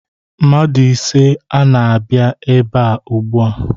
Mmadụ ise ana-abịa ebe ugbua.